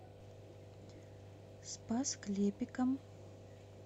спас клепикам